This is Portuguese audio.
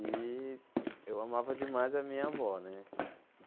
E eu amava demais a minha avó, né?